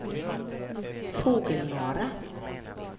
Fågelmara